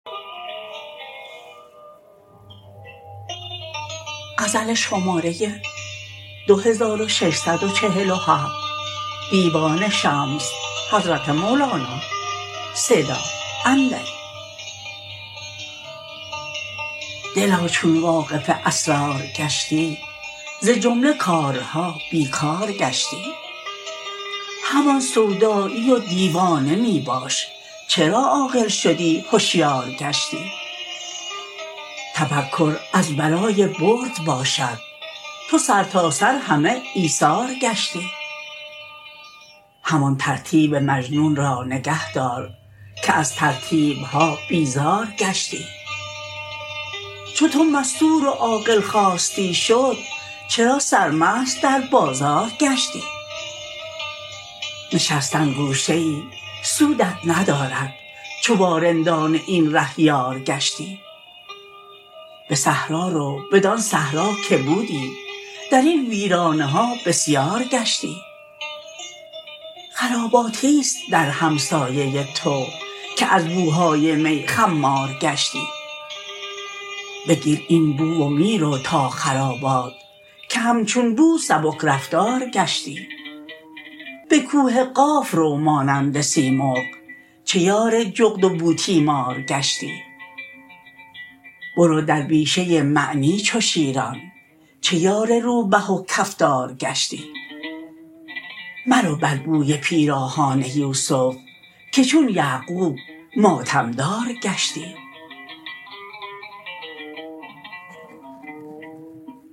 دلا چون واقف اسرار گشتی ز جمله کارها بی کار گشتی همان سودایی و دیوانه می باش چرا عاقل شدی هشیار گشتی تفکر از برای برد باشد تو سرتاسر همه ایثار گشتی همان ترتیب مجنون را نگه دار که از ترتیب ها بیزار گشتی چو تو مستور و عاقل خواستی شد چرا سرمست در بازار گشتی نشستن گوشه ای سودت ندارد چو با رندان این ره یار گشتی به صحرا رو بدان صحرا که بودی در این ویرانه ها بسیار گشتی خراباتی است در همسایه تو که از بوهای می خمار گشتی بگیر این بو و می رو تا خرابات که همچون بو سبک رفتار گشتی به کوه قاف رو مانند سیمرغ چه یار جغد و بوتیمار گشتی برو در بیشه معنی چو شیران چه یار روبه و کفتار گشتی مرو بر بوی پیراهان یوسف که چون یعقوب ماتم دار گشتی